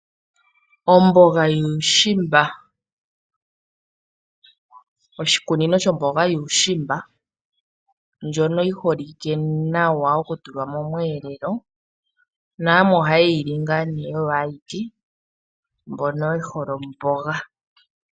Omboga yuushimba, oshikunino shomboga yuushimba ndjoka yiiholike nawa oku tulwa momwelelo na yamwe ohaye yili oyo ayike, mbono yehole oomboga.